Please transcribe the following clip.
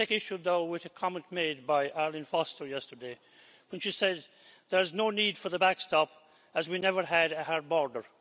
I must take issue, though, with a comment made by Arlene Foster yesterday when she said There is no need for the backstop, as we never had a hard border'.